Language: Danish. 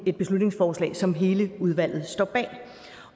et beslutningsforslag som hele udvalget står bag